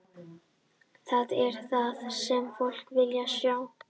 Það er það sem fólk vill sjá.